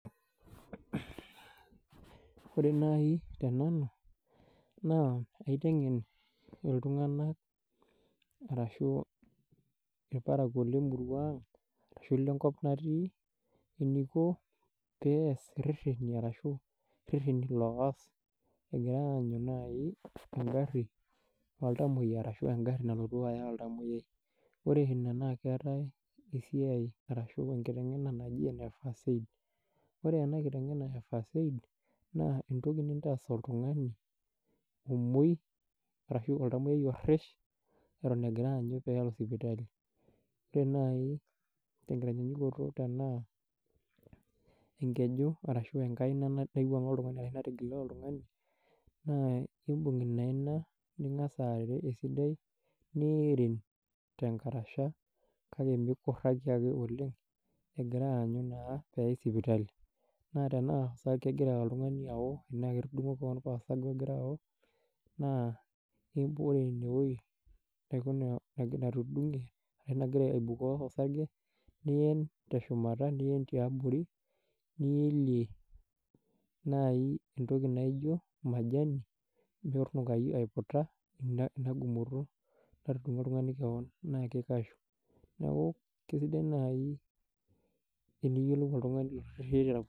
Wore naai tenanu, naa kaitengen iltunganak. Arashu ilparakuo lemurua ang', arashu ilenkop natii. Eniko pee eas irrereni arashu irrereni loas ekira aanyu nai enkari oltamoyia arashu enkarri nalotu aya oltamoyia. Wore inia naa keetae esiai arashu enkitengena naji ene first aid. Wore enakitengena e first aid, naa entoki nintaas oltungani omoi, arashu oltamoyia orrish eton ekira aanyu peelo sipitali. Wore naai tenkitanyanyukoto tenaa enkeju arashu enkaina naiwuanga oltungani ashu natigile oltungani, naa iimbung inaina, ningas airerio esidai, niirin tenkarasha kake mikuraki ake oleng'. Egira aanyu naa pee eyai sipitali. Naa tenaa kekira oltungani ao, tenaa ketudungo kewon paa osarge okira ao, naa wore inewoji, arashu inakeju natudungie, ashu nakira aibukoo osarge. Nien teshumata nien tiabori, nielie nai entoki naijo majani metunukayu aiputa inia gumoto, latudungo oltungani kewon, naa kikashu. Neeku kesidai nai teniyielou oltungani